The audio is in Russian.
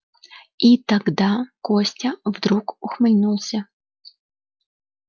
и тогда костя вдруг ухмыльнулся